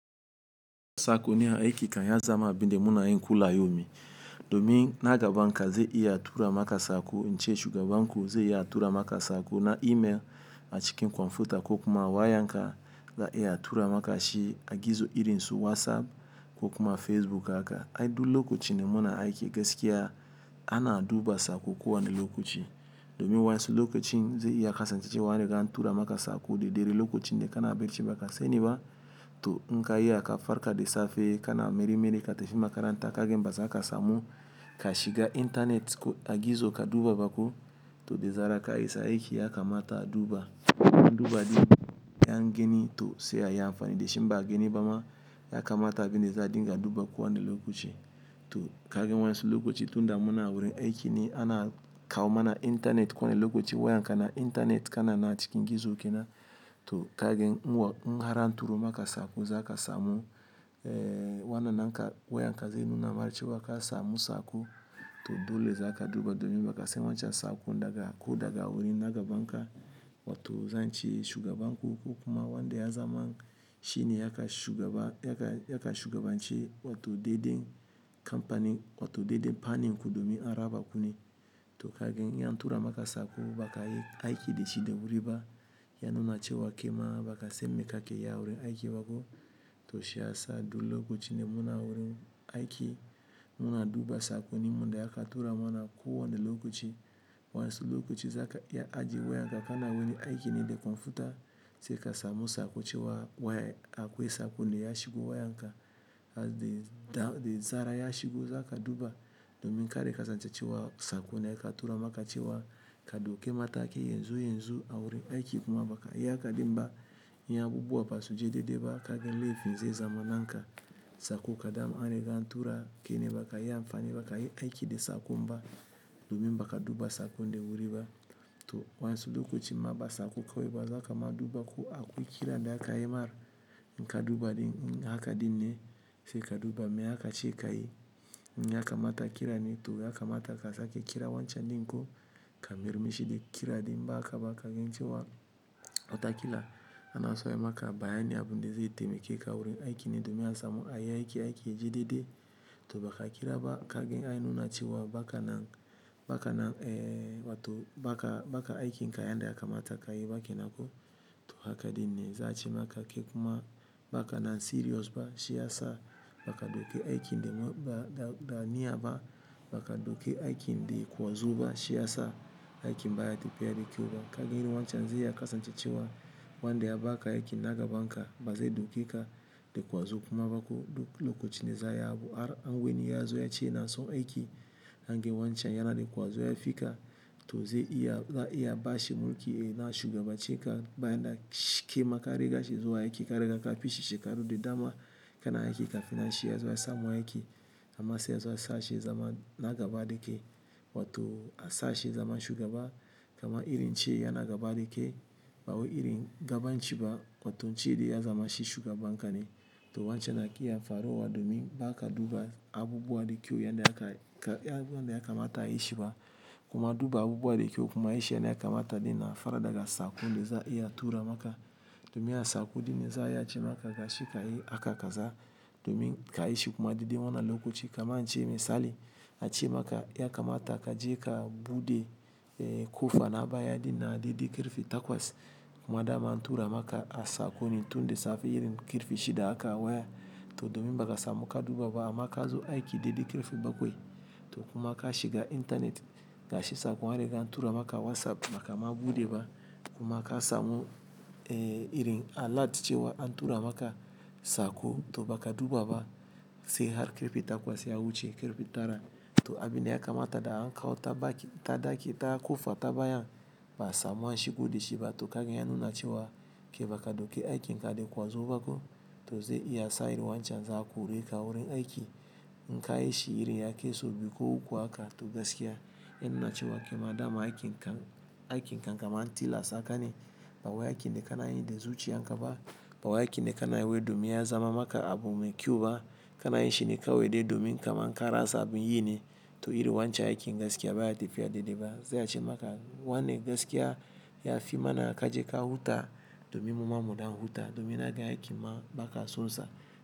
Sakonni a aiki kan ya zama abinde muna yin kula yaumi. Domin na gaban ka ze iya tura maka sako ince shugaban ku ze iya tura ma ka sako na email a cikin kwamfuta ko kuma wayan ka za'a iya a tura maka shi a gizo irin su WhatsApp ko kuma Facebook haka. Ai du lokacin da muna aiki gaskiya ana duba sako kowane lokaci. Domin wasu lokacin ze iya kasancewa wa an riga an tura ma ka sako da dare lokacin da kana bacci ba ka sani ba to in ka iya ka farka da safe kana marmari ka tafi makaranta ka gan ba za ka samu ka shiga internet a gizo ka duba ba ko to da zaran ka isa aiki ya kamata a duba. In an duba din an gani to sai a yi amfani da shi, in ba'a gani ba ma ya kamata abinda za'a dinga duba kowa ne lokaci. To ka gan wasu lokaci tunda muna wurin aiki ne ana kawo mana internet kowane lokaci wayan ka na internet kana nan a cikin gizo kenan to ka gan in har an turo ma ka sako za ka samu eh wana nanka wayan ka ze nuna ma cewa ka samu sako to dole za ka duba domin baka san wancan sakon daga ko daga wurin na gaban ka wato zance shugabanku ko kuma wanda ya zama shine ya ka shugaba ya ka, ya kan shugabanci wato deden kamfani wato de fannin ku domin an raba ku ne. To ka gan in an tura ma ka sako ba ka yi aiki da shi da wuri ba, ya nuna cewa kai ma ba ka san me ka ke yi a wurin aiki ba ko. To shiyasa duk lokacin da muna wurin aiki, muna duba sakonnin da aka tura mana kowani lokaci wa'an su lokaci za ka iya ajiye wayan ka ka na wani aiki ne da kwamfuta sai ka samu sako cewa waya akwai sakon de ya shigo wayan ka de zara ya shigo za ka duba domin kar ya kasance cewa sako ne da aka tura ma ka cewa ka daikw mataki yanzu yanzu a wurin aiki kuma baka yi haka din ba. Idan abubuwa ba su je daidai ba ka gan laifin zai zama na ka. Sako ko dama an riga an tura kai ne ba ka yi amfani ba, ba ka yi aiki da sakon ba domin ba ka duba sakon da wuri ba to wa'an su lokacin ma ba sako kawai ba za ka ma duba ko akwai kira da a ka yi mar in ka duba din haka din ne sai ka duba me aka ce ka yi in ya kamata kira ne to ya kamata ka sake kira wancan dinko ka mayar mishi de kira din in ba haka ba ka gan cewa wata kila ana so aya ma ka bayanin abin da zai taimake ka wurin aiki ne domin ya samu a yi aiki, aiki ya je daidai. To ba ka kira ba, ka gan ya nuna cewa ba kan, ba ka nan, wato ba ka aikin ka yanda ya kamata ka yi ba kenan ko, to haka dinne za'a ce ma ka kai kuma ba ka na serious ba shiyasa ba ka dauki aikin da ba da niyya ba ba ka dauke aikin de kwazo ba shiyasa aiki ba ya tafiya da kyau ba. Ka gan irin wancan zai iya kasance cewa wanda ya ba ka aiki na gaban ka ba zai dauke ka de kwazo kuma ba ko lokacin da za'a yi abu. Har an ga wani ya zo ya ce yana so aiki, an ga wancan yana da kwazo ya fi ka to ze iya, za'a iya bashi mulki na ya shugaban ce ka bayan da shi kaima ka riga shi zuwa aiki ka riga ka ka pishi shekaru da dama ka na aiki ka fin nan shi ya zo ya samun aiki. Amman sai a zo a sa shi ya zama na gaba da kai, wato a sa shi ya zama shugaba, kaman irin in ce yana gaba da kai ba wai irin gaban ci ba, kwatance da ya zamashi shugaban ka ne to wancan na ki ya faruwa domin ba ka duba abubuwa da kyau yanda aka, yanda ya kamata ayi shi ba kuma duba abubuwa da kyau kuma ayi shi yanda ya kamata dinnan fa daga sako za'a iya tura ma ka. Domin a sako dinnne za'a iya ce ma ka ga shj ka yi haka kaza domin ka yishi kuma daidai wanan lokaci kamar ace misali ace ma ka ya kamata ka je ka buɗe eh kofa na baya dinan a daidai karfe takwas kuma dama an tura maka a sako ne tun da safe irin karfe shida haka waya. To domin ba ka samu ka duba ba amma ka zo aiki daidai karfe bakwai to kuma ka shiga internet gashi sako an riga an tura ma ka WhatsApp ba ka ma bude ba kuma ka samu eh irin alert cewa an tura maka sako to ba ka duba ba sai har karfe takwas ya wuce karfe tara to abin da ya kamata da an kawo wuta ta daki ta kofa ta bayan ba'a samu an shigo da shi ba to ka gan ya nuna cewa ke ba ka dauke aikin ka de kwazo ba kena ko to zai iya sa irin wancan za'a kore ka a wurin aiki. In ka yi shi irin ya kai sau biyu ko uku haka, to gaskiya ya nuna cewa kai ma dama aikin kan aikin kan kaman an tilasa ka ne ba wai aiki ne ka na yin da zuciyan ka ba, ba wai aiki ne ka na yi wai domin ya zama ma k abu mai kyau ba ka na yin shi ne kawai de domin kaman karasa abin yi ne to irin wancan aikin gaskiya ba yatafiya daidai ba. Za'a ce ma ka wane gaskiya ya fi mana ka je ka huta domin muma mu dan huta domin naga aikin ma ba ka son sa.